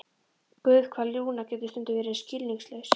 Guð, hvað Lúna getur stundum verið skilningslaus.